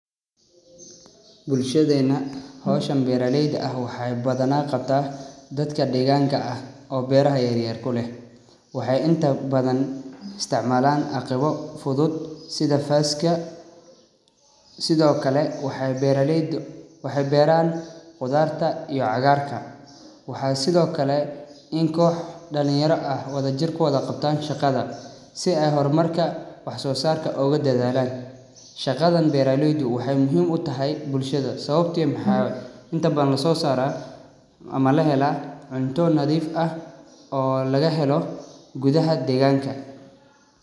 Bulshadeena hawshan beeralayda ah waxay badanaa qabta dadka deeganka ah oo beeraha yaryar ku leh. Waxay inta badan isticmaalan aqibo fudud sida faaska sidokale waxay beeralayda waxay beeran qudarta iyo cagaarka. Waxay sidokale in kox dhalinyara ah wadajir kuwada qabtan shaqada si ay hormarka wax soosarka ooga dadaalan. Shaqadan beeralayda waxay muhiim u tahay bulshada sababto maxaa inta badan soosara ama lahela cunto nadiif ah oo lagahelo gudaha deeganka.